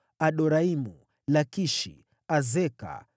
Adoraimu, Lakishi, Azeka,